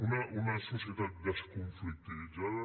una societat desconflictivitzada